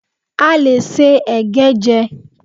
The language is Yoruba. A lè se ẹ̀gẹ́ jẹ́